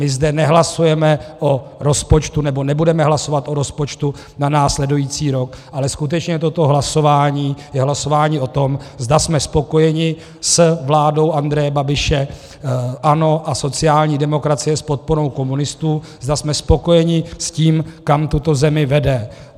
My zde nehlasujeme o rozpočtu, nebo nebudeme hlasovat o rozpočtu na následující rok, ale skutečně toto hlasování je hlasování o tom, zda jsme spokojeni s vládou Andreje Babiše, ANO a sociální demokracie s podporou komunistů, zda jsme spokojeni s tím, kam tuto zemi vede.